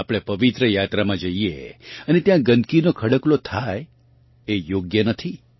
આપણે પવિત્ર યાત્રામાં જઇએ અને ત્યાં ગંદગીનો ખડકલો થાય એ યોગ્ય નથી